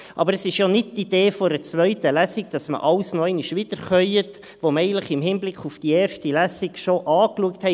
Aber es ist ja nicht die Idee einer zweiten Lesung, dass man alles noch einmal wiederkäut, was man eigentlich in Hinblick auf die erste Lesung schon angeschaut hat.